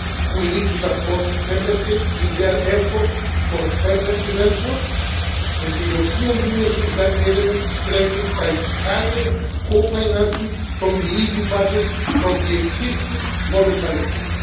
We need to support Member States in their efforts for better prevention, and the European Union solidarity element is strengthened by higher co financing from the EU budget from the existing voluntary pool.